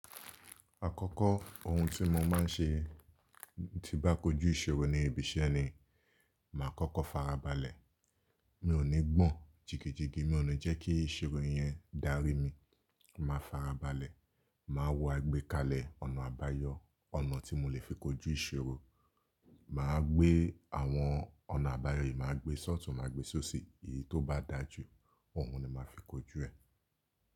Àkọ́kọ́ ohun tí mo máa ń ṣe tí bá kojú ìṣòro ní ibi iṣẹ́ ni màá kọ́kọ́ farabalẹ̀. Mi ò ní gbọ̀n jigejige, mi ò ní jẹ́ kí ìṣòro yẹn dárí mi. Màá farabalẹ̀, màá wo àgbékalẹ̀ ọ̀nà àbáyọ, ọ̀nà tí mo lè fi kojú ìṣòro. Màá gbé àwọn ọ̀nà àbáyọ yìí, màá gbé sọ́ọ̀tù, màá gbé sóṣì. Èyí tó bá dájú, òun ni màá fi kojú ẹ̀.